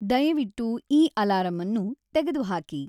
ದಯವಿಟ್ಟು ಈ ಅಲಾರಂನ್ನು ತೆಗೆದುಹಾಕಿ